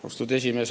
Austatud esimees!